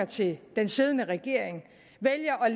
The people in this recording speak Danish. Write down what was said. til den siddende regering vælger at